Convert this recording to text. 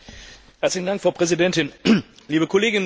Frau Präsidentin, liebe Kolleginnen und Kollegen!